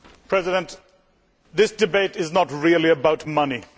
Mr President, this debate is not really about money.